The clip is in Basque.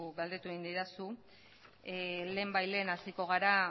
galdetu egin didazu lehenbailehen hasiko gara